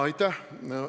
Aitäh!